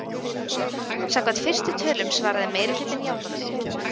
Samkvæmt fyrstu tölum svaraði meirihlutinn játandi